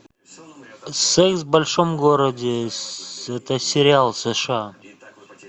секс в большом городе это сериал сша